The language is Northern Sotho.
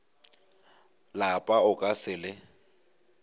lapa o ka se le